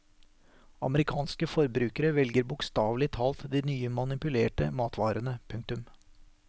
Amerikanske forbrukere svelger bokstavelig talt de nye manipulerte matvarene. punktum